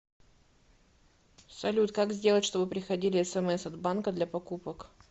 салют как сделать чтобы приходили смс от банка для покупок